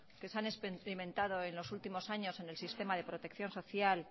que se han experimentado en los últimos años en el sistema de protección social